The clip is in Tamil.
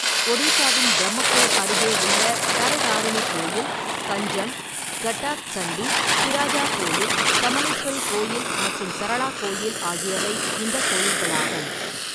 ஒடிசாவின் பிரம்மபூர் அருகே உள்ள தரதாரிணி கோயில், கஞ்சம், கட்டாக் சண்டி, பிராஜா கோயில், சமலேஸ்வரி கோயில் மற்றும் சரளா கோயில் ஆகியவை இந்த கோயில்களாகும்.